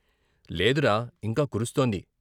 లేదురా ఇంకా కురుస్తోంది.